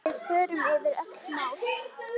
Við förum yfir öll mál.